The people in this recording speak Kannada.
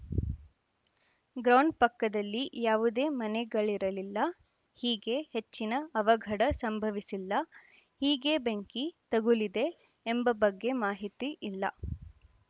ಗ್ರೌಂನ್ ಪಕ್ಕದಲ್ಲಿ ಯಾವುದೇ ಮನೆಗಳಿರಲಿಲ್ಲ ಹೀಗೆ ಹೆಚ್ಚಿನ ಅವಘಡ ಸಂಭವಿಸಿಲ್ಲ ಹೀಗೆ ಬೆಂಕಿ ತಗುಲಿದೆ ಎಂಬ ಬಗ್ಗೆ ಮಾಹಿತಿ ಇಲ್ಲ